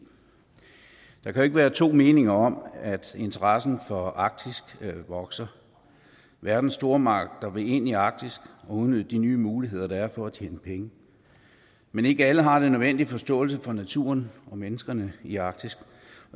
der kan jo ikke være to meninger om at interessen for arktis vokser verdens stormagter vil ind i arktis og udnytte de nye muligheder der er for at tjene penge men ikke alle har den nødvendige forståelse for naturen og menneskerne i arktis